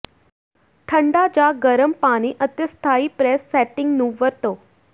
ਠੰਡਾ ਜਾਂ ਗਰਮ ਪਾਣੀ ਅਤੇ ਸਥਾਈ ਪ੍ਰੈਸ ਸੈਟਿੰਗ ਨੂੰ ਵਰਤੋ